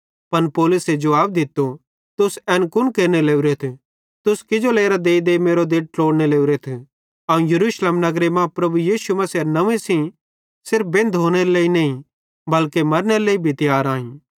पन पौलुसे जुवाब दित्तो तुस एन कुन केरने लोरेथ तुस किजो लेरां देईदेई मेरो दिल ट्लोड़ने लोरेथ अवं यरूशलेम नगरे मां प्रभु यीशु मसीहेरे नंव्वे सेइं सिर्फ बेंधोनेरे लेइ नईं बल्के मरनेरे लेइ भी तियार आईं